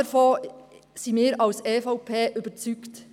Davon sind wir seitens der EVP überzeugt.